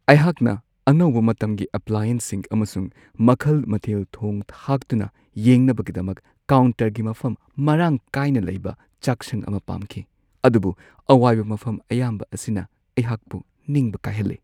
ꯑꯩꯍꯥꯛꯅ ꯑꯅꯧꯕ ꯃꯇꯝꯒꯤ ꯑꯦꯄ꯭ꯂꯥꯌꯦꯟꯁꯁꯤꯡ ꯑꯃꯁꯨꯡ ꯃꯈꯜ-ꯃꯊꯦꯜ ꯊꯣꯡ-ꯊꯥꯛꯇꯨꯅ ꯌꯦꯡꯅꯕꯒꯤꯗꯃꯛ ꯀꯥꯎꯟꯇꯔꯒꯤ ꯃꯐꯝ ꯃꯔꯥꯡ ꯀꯥꯏꯅ ꯂꯩꯕ ꯆꯥꯛꯁꯪ ꯑꯃ ꯄꯥꯝꯈꯤ, ꯑꯗꯨꯕꯨ ꯑꯋꯥꯏꯕ ꯃꯐꯝ ꯑꯌꯥꯝꯕ ꯑꯁꯤꯅ ꯑꯩꯍꯥꯛꯄꯨ ꯅꯤꯡꯕ ꯀꯥꯏꯍꯜꯂꯦ ꯫